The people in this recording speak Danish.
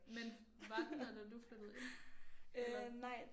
Men var den der da du flyttede ind? Eller?